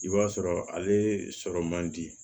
I b'a sɔrɔ ale sɔrɔ man di